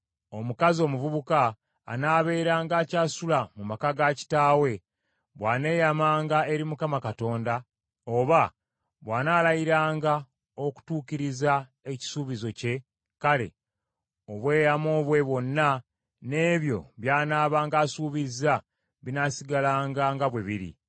“Omukazi omuvubuka anaabeeranga akyasula mu maka ga kitaawe, bw’aneeyamanga eri Mukama Katonda, oba bw’anaalayiranga okutuukiriza ekisuubizo kye, kale, obweyamo bwe bwonna n’ebyo by’anaabanga asuubizza binaasigalanga nga bwe biri.